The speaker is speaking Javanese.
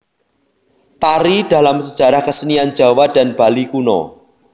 Tari Dalam Sejarah Kesenian Jawa dan Bali Kuno